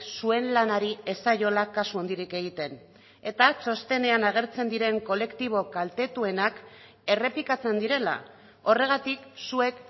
zuen lanari ez zaiola kasu handirik egiten eta txostenean agertzen diren kolektibo kaltetuenak errepikatzen direla horregatik zuek